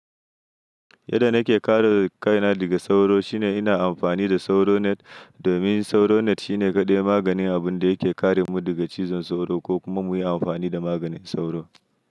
Yadda nake kare kaina daga sauro shine ina amfani da sauro net domin sauro net shine kaɗai maganin abun da yake kare mu daga cizon sauro ko kuma muyi amfani da maganin sauro.